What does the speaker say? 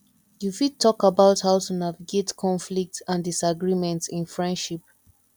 you fit talk about how to navigate conflicts and disagreements in friendships